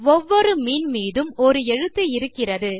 ஒவ்வொரு மீன் மீதும் ஒரு எழுத்து இருக்கிறது